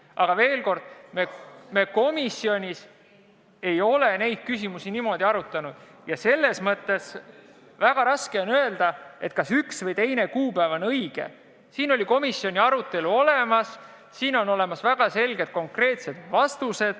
Aga veel kord: me komisjonis ei ole neid küsimusi niimoodi arutanud ja selles mõttes on väga raske öelda, kas üks või teine kuupäev on õige.